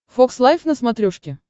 фокс лайв на смотрешке